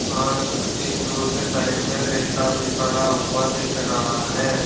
पास एक रोड के साइड में रेता भी पड़ा हुआ दिख रहा है।